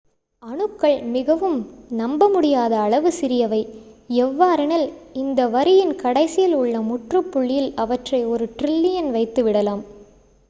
அணுக்கள் மிகவும் நம்ப முடியாத அளவு சிறியவை எவ்வாறெனில் இந்த வரியின் கடைசியில் உள்ள முற்றுப் புள்ளியில் அவற்றை ஒரு ட்ரில்லியன் வைத்து விடலாம்